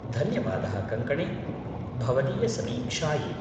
धन्यवादः कङ्कणे! भवदीयसमीक्षायै।